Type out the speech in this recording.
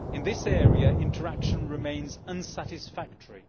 In this area, interaction remains unsatisfactory.